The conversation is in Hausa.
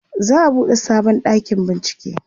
za'a buɗe sabon ɗakin bincike